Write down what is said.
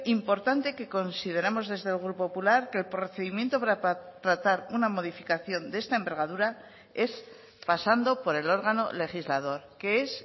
importante que consideramos desde el grupo popular que el procedimiento para tratar una modificación de esta envergadura es pasando por el órgano legislador que es